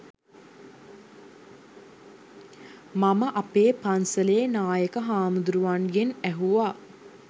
මම අපේ පන්සලේ නායක හාමුදුරුවන්ගෙන් ඇහුවා